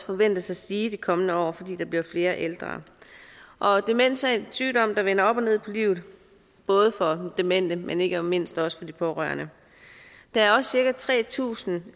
forventes at stige de kommende år fordi der bliver flere ældre demens er en sygdom der vender op og ned på livet både for den demente men ikke mindst også for de pårørende der er også cirka tre tusind